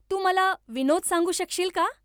तू मला विनोद सांगू शकशील का